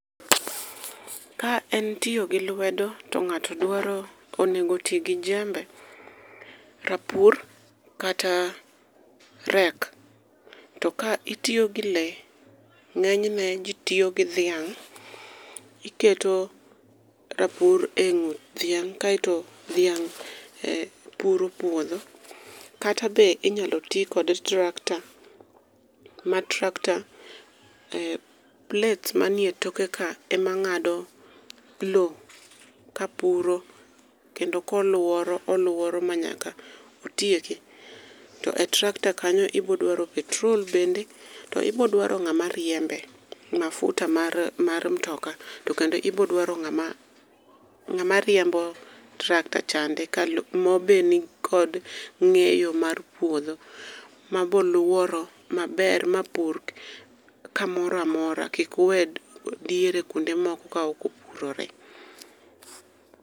Ka en tiyo gi lwedo to ng'ato dwaro onego oti gi jembe, rapur, kata rake. To ka itiyo gi le to ng'enyne ji tiyo gi dhiang'. Iketo rapur e ng'ut dhiang' kaito dhiang' puro puodho. Kata be ,inyalo ti kod tractor, ma tractor, plates manie e tokeka e ma ng'ado lo kapuro kendo koluoro oluoro ma nyaka otieki. To e tractor kanyo ibo dwaro petrol bende, to ibo dwaro ng'ama riembe. Mafuta mar mtokaa to kendo ibo dwaro ng'ama riembo tractor chande ka lobeni kod ng'eyo mar puodho maboluoro maber mapur kamoro amora ,kik owe diere kuonde moko ka ok opurore .